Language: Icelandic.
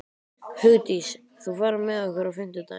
Hugdís, ferð þú með okkur á fimmtudaginn?